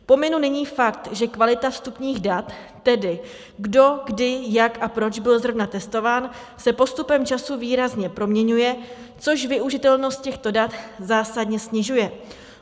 Pominu nyní fakt, že kvalita vstupních dat, tedy kdo kdy jak a proč byl zrovna testován, se postupem času výrazně proměňuje, což využitelnost těchto dat zásadně snižuje.